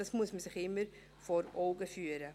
Dies muss man sich immer vor Augen führen.